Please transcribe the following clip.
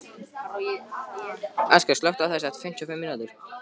Askja, slökktu á þessu eftir fimmtíu og fimm mínútur.